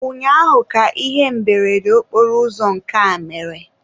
ụnyaahụ ka ihe mberede okporoụzọ nke a mere.